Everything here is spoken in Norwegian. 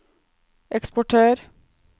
eksportør